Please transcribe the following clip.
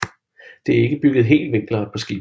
Det er ikke bygget helt vinkelret på skibet